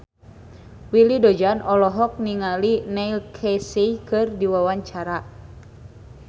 Willy Dozan olohok ningali Neil Casey keur diwawancara